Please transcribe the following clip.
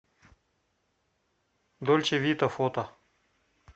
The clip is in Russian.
дольче вита фото